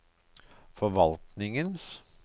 forvaltningens